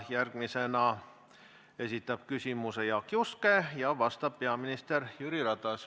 Järgmisena esitab küsimuse Jaak Juske ja talle vastab peaminister Jüri Ratas.